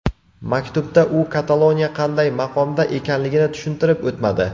Maktubda u Kataloniya qanday maqomda ekanligini tushuntirib o‘tmadi.